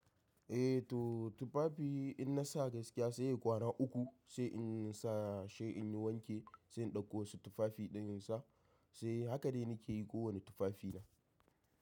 Eh to tufafi in na sa gaskiya sai kwana uku sai in sa sai in wanke sai in ɗauko wasu tufafi ɗin in sa sai haka ne nake yi kowane tufafi na.